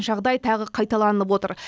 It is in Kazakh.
жағдай тағы қайталанып отыр